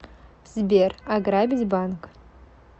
сбер ограбить банк